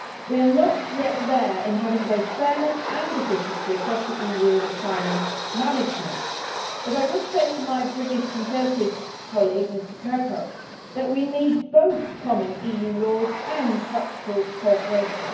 We are not yet there in having both fairness and efficiency across the EU and asylum management, but I would say to my British Conservative colleague, Mr Kirkhope, that we need both common EU laws and practical cooperation.